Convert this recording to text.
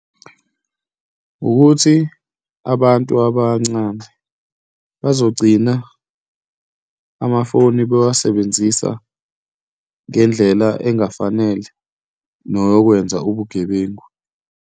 Ukuthi abantu abancane bazogcina amafoni bewasebenzisa ngendlela engafanele neyokwenza ubugebengu.